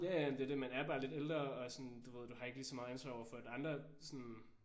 Ja ja men det er det. Man er bare lidt ældre og sådan du ved du har ikke lige så meget ansvar over for at andre sådan